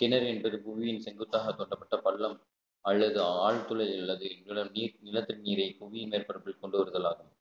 கிணறு என்பது பூமியின் செங்குத்தாக தொட்டப்பட்ட பள்ளம் அல்லது ஆழ்துளை நிலத்தடி நீர் நிலத்தடி நீரை புவியும் மேற்பரப்பில் கொண்டு வருதல் ஆகும்